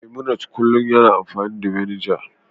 memunant kullum yana amfani da vinegar